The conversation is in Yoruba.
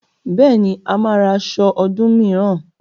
Bẹ́ẹ̀ni, a máa ra aṣọ ọdún mìíràn